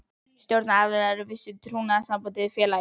Stjórnunaraðilar eru í vissu trúnaðarsambandi við félagið.